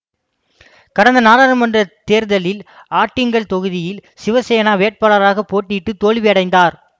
கடந்த நடாளுமன்றத் தேர்தலில் ஆட்டிங்கள் தொகுதியில் சிவசேனா வேட்பாளராக போட்டியிட்டு தோல்வி அடைந்தார்